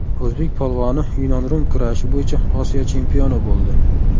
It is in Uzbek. O‘zbek polvoni yunon-rum kurashi bo‘yicha Osiyo chempioni bo‘ldi.